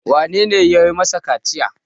wanene ya yi masa kaciya?